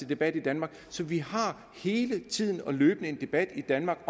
debat i danmark så vi har løbende og hele tiden en debat i danmark